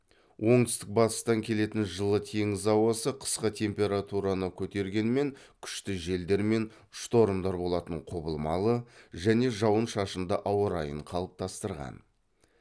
оңтүстік батыстан келетін жылы теңіз ауасы қысқы температураны көтергенмен күшті желдер мен штормдар болатын құбылмалы және жауын шашынды ауа райын қалыптастырған